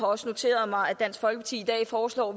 også noteret mig at dansk folkeparti i dag foreslår